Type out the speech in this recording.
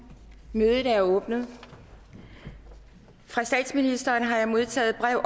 mødet er åbnet fra statsministeren har jeg modtaget brev